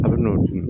A bɛ n'o dun